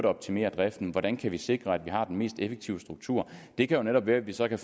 optimere driften hvordan vi kan sikre at vi har den mest effektive struktur det kan netop være at vi så kan